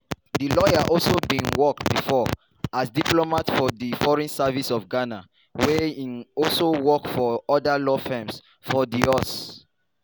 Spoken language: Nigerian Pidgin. di lawyer also bin work bifor as diplomat for di foreign service of ghana wia im also work for oda law firms for di us.